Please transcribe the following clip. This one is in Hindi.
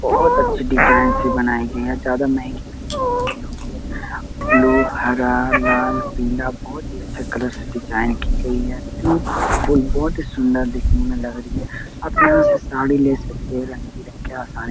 बहोत अच्छी डिज़ाइन से बनाई गई है ज्यादा महंगी ब्लू हरा लाल पीला बहोत ही अच्छी कलर से डिज़ाइन की गई है ब्यूटीफुल बहोत ही सुंदर दिखने में लग रही है आप यहाँ से साड़ी ले सकते है रंग-बिरंग के आसानी --